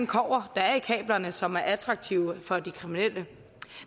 kobber der er i kablerne og som er attraktiv for de kriminelle